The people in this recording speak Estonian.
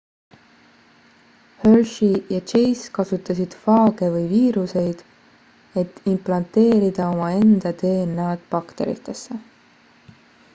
hershey ja chase kasutasid faage või viiruseid et implanteerida omaenda dna-d bakteritesse